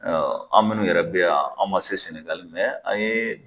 an minnu yɛrɛ bɛ yan an man se Sɛnɛgali an ye